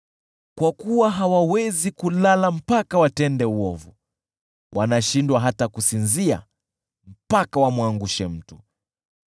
Kwa kuwa hawawezi kulala mpaka watende uovu; wanashindwa hata kusinzia mpaka wamwangushe mtu.